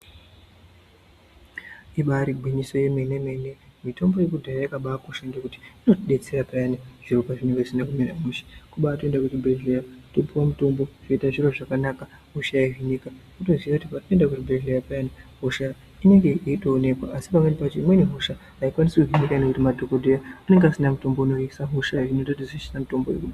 Ibari gwinyiso yemene mene mitombo yekudhaya yakabaa kosha ngekuti inotidetsera payani zviro pazvinenge zvisina kumira mushe kubaatoenda kuchibhedhleya topuwe mutombo zvoite zviro zvakanaka hosha yohinika kutoziye kuti papinda kuchibhedhleya payana hosha inenge yeitooneka asi pamweni pacho inenge isingakwanisi kuhinika ngekuti madhokodheya anenga asina mutombo unohinisa hosha yo unoita kutimitombo iyi.